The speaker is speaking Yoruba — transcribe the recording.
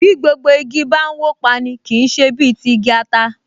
Bí gbogbo igi bá n wó pa’ni, kì í ṣe bí ti igi ata